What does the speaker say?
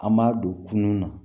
An b'a don kunun na